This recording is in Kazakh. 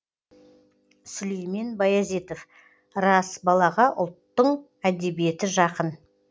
сүлеймен баязитов рас балаға ұлттың әдебиеті жақын